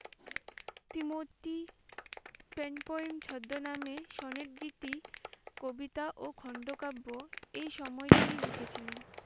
Trimurti pen point ছদ্মনামে স্বনির্ধিতি কবিতা ও খণ্ড কাব্য এই সময়ে তিনি লিখেছিলেন।